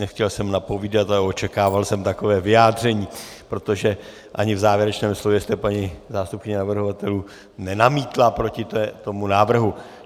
Nechtěl jsem napovídat, ale očekával jsem takové vyjádření, protože ani v závěrečném slově jste, paní zástupkyně navrhovatelů, nenamítla proti tomu návrhu.